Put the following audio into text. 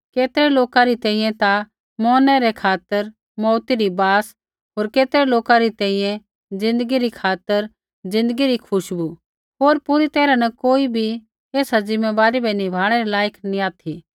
केतरै लोका री तैंईंयैं ता मौरनै रै खातर मौउती री बास होर केतरै लोका री तैंईंयैं ज़िन्दगी री खातर ज़िन्दगी री खुशबु होर पूरी तैरहा न कोई बी ऐसा ज़िम्मैबारी बै निभाणै रै लायक नी ऑथि